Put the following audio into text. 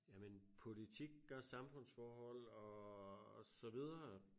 Jamen politik og samfundsforhold og så videre